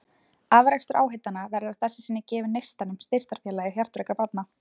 Afrakstur áheitanna verður að þessu sinni gefinn Neistanum, styrktarfélagi hjartveikra barna.